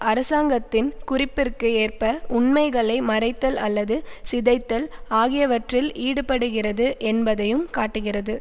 அரசாங்கத்தின் குறிப்பிற்கு ஏற்ப உண்மைகளை மறைத்தல் அல்லது சிதைத்தல் ஆகியவற்றில் ஈடுபடுகிறது என்பதையும் காட்டுகிறது